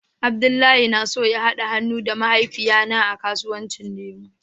Abdullahi yana so ya hada han'nu da mahaifiya na a kasuwanci lemu.